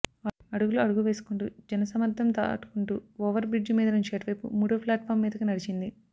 అడుగులో అడుగు వేసుకుంటూ జనసమ్మర్ధం దాటుకుంటూ ఒవర్ బ్రిడ్జ్ మీద నుంచి అటువైపు మూడో ప్లాట్ఫార్మ్ మీదకి నడిచింది